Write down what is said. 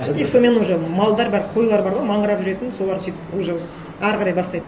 и сонымен уже малдар бәрі қойлар бар ғой маңырап жүретін солар сөйтіп уже әрі қарай бастайды